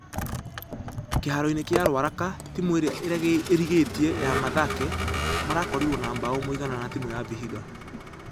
Kĩharo-inĩ gia ruaraka timũ ĩrĩa ĩrigetia ya mathake marakorirwo na bao mũiganano na timũ ya vihiga.